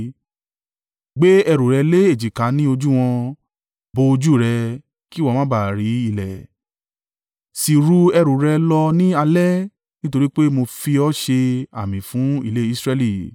Gbé ẹrù rẹ lé èjìká ní ojú wọn, bo ojú rẹ, kí ìwọ má ba à rí ilẹ̀, sì ru ẹrù rẹ lọ ní alẹ́ nítorí pé mo fi ọ́ ṣe àmì fún ilé Israẹli.”